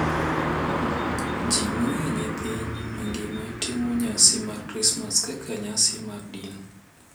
Ji mang’eny e piny mangima timo nyasi mar Krismas kaka nyasi mar din .